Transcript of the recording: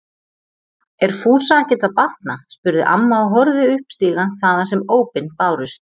Er Fúsa ekkert að batna? spurði amma og horfði upp stigann þaðan sem ópin bárust.